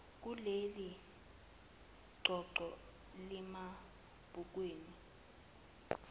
kuleli qoqo lamabhukwana